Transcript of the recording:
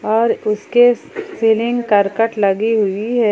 और उसके सीलिंग करकट लगी हुई है।